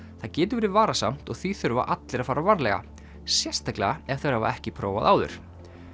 það getur verið varasamt og því þurfa allir að fara varlega sérstaklega ef þeir hafa ekki prófað áður